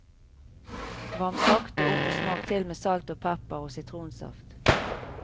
Varm sakte opp og smak til med salt og pepper og sitronsaft.